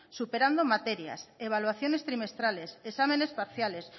superando materias evaluaciones trimestrales exámenes parciales